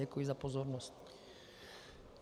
Děkuji za pozornost.